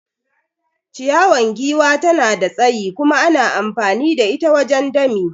Ciyawan giwa tana da tsayi kuma ana amfani da ita wajen dami.